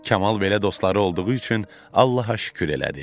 Kamal belə dostları olduğu üçün Allaha şükür elədi.